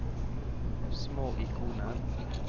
små ikoner